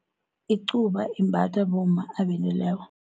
Icuba imbathwa bomma abendileko.